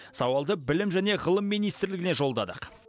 сауалды білім және ғылым министрлігіне жолдадық